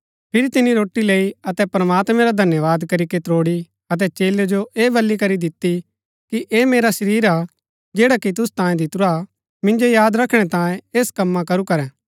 फिरी तिनी रोटी लैई अतै प्रमात्मैं रा धन्यवाद करीके त्रोड़ी अतै चेलै जो ऐह बल्ली करी दिती कि ऐह मेरा शरीर हा जैडा कि तुसु तांयें दितुरा मिन्जो याद रखणै तांयें ऐस कमां करू करै